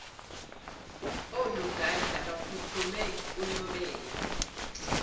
onogada baphuthume kunobela